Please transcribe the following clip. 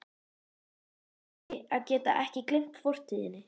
Það er afleitur eiginleiki að geta ekki gleymt fortíðinni.